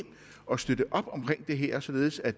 og støtte op omkring det her således at